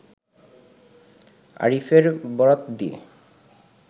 আরিফের বরাত দিয়ে